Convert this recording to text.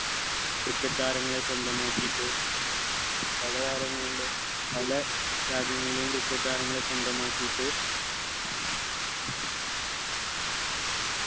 cricket താരങ്ങളെ സ്വന്തമാക്കിട്ട് പല താരങ്ങളിലെ പല രാജ്യങ്ങളിലെയും cricket താരങ്ങളെ സ്വന്തമാക്കീട്ട്